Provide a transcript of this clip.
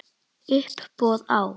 Uppboð á